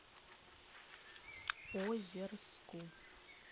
озерску